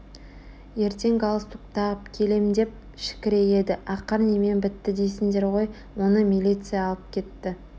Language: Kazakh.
ертең галстук тағып келем деп шікірейеді ақыр немен бітті дейсіңдер ғой оны милиция алып кетті